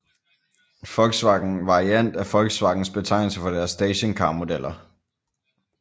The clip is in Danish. Volkswagen Variant er Volkswagens betegnelse for deres stationcarmodeller